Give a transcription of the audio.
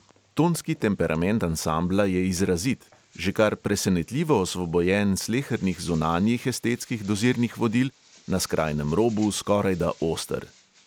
Tonski temperament ansambla je izrazit, že kar presenetljivo osvobojen slehernih zunanjih estetskih dozirnih vodil, na skrajnem robu skorajda oster.